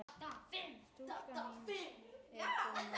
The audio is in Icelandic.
Stúlkan mín er fyrir norðan.